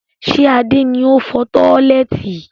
Ṣé Adé ni ó fọ tọ́lẹ́ẹ́tì?